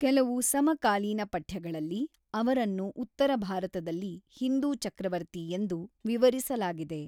ಕೆಲವು ಸಮಕಾಲೀನ ಪಠ್ಯಗಳಲ್ಲಿ, ಅವರನ್ನು ಉತ್ತರ ಭಾರತದಲ್ಲಿ ಹಿಂದೂ ಚಕ್ರವರ್ತಿ ಎಂದು ವಿವರಿಸಲಾಗಿದೆ.